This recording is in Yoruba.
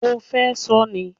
O fẹ́ ṣọ ni?